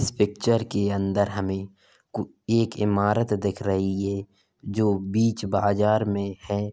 इस पिक्चर के अंदर हमें कु एक इमारत दिख रही है जो बीच बाजार में है।